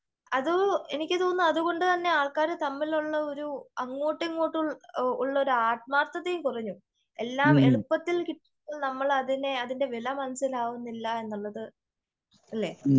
അത് എനിക്ക് തോന്നുന്നു അത്കൊണ്ട് തന്നെ ആൾക്കാര് തമ്മിലുള്ള ഒരു അങ്ങോട്ടും ഇങ്ങോട്ടും ഉള്ള ഒരു ആത്മാർത്തതയും കുറഞ്ഞു.എല്ലാം എളുപ്പത്തിൽ കിട്ടിയാൽ നമ്മൾ അതിന്റെ വില മനസ്സിലാകുന്നില്ല എന്നുള്ളത് അല്ലേ ?